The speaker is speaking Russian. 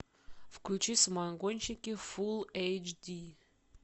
включи самогонщики фулл эйч ди